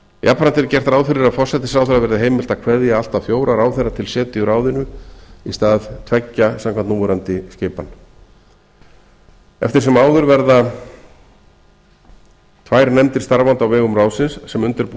jafnframt er gert ráð fyrir að forsætisráðherra verði heimilt að kveðja allt að fjóra ráðherra til setu í ráðinu í stað tveggja samkvæmt núverandi skipan eftir sem áður verða tvær nefndir starfandi á vegum ráðsins sem undirbúa